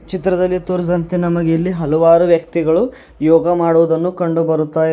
ಚಿತ್ರದಲ್ಲಿ ತೋರಿಸಿದಂತೆ ನಮಗೆ ಎಲ್ಲಿ ಹಲವಾರು ವ್ಯಕ್ತಿಗಳು ಯೋಗ ಮಾಡುವುದನ್ನು ಕಂಡುಬರುತ್ತಯಿದೆ.